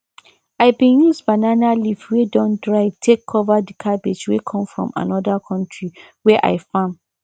i been use banana leaf wey don dry take cover the cabbage wey come from another country wey i farm